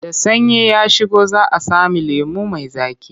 Da sanyi ya shigo za a sami lemo mai zaƙi.